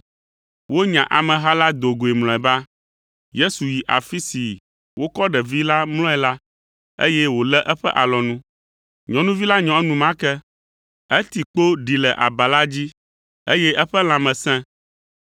Wonya ameha la do goe mlɔeba. Yesu yi afi si wokɔ ɖevi la mlɔe la, eye wòlé eƒe alɔnu. Nyɔnuvi la nyɔ enumake; eti kpo ɖi le aba la dzi, eye eƒe lãme sẽ.